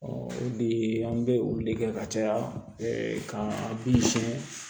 bi an bɛ olu de kɛ ka caya ka bin siyɛn